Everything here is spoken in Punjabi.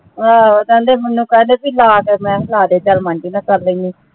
ਊਹ ਕਹਿੰਦੇ ਮੈਨੂੰ ਕਦ ਕੇ ਲਾ ਦੋ ਮੈਂ ਕ੍ਯਾ ਲਾ ਦੇ ਚਲ ਮਨ ਜੇ ਗਾ ਕਰ ਲੀਨੀ